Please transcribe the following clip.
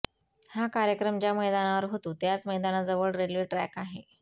हा कार्यक्रम ज्या मैदानावर होतो त्याच मैदानाजवळ रेल्वे ट्रॅक आहे